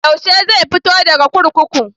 Yaushe zai fito daga kurkuku?